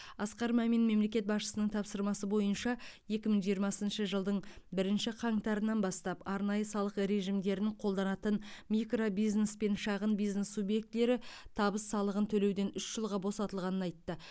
асқар мәмин мемлекет басшысының тапсырмасы бойынша екі мың жиырмасыншы жылдың бірінші қаңтарынан бастап арнайы салық режимдерін қолданатын микробизнес пен шағын бизнес субъектілері табыс салығын төлеуден үш жылға босатылғанын айтты